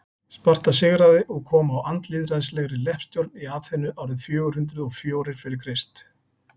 sparta sigraði og kom á andlýðræðislegri leppstjórn í aþenu árið fjögur hundruð og fjórir fyrir krist